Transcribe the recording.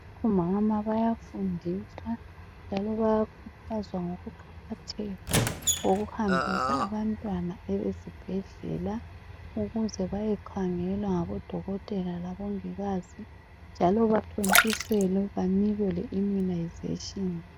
Omama bayafundiswa njalo bayakhuthazwa ngokuqakatheka kokuhambisa abantwana ezibhedlela ukuze bayekhangelwa ngodokotela labongikazi njalo bathontiselwe banikwe le immunisation.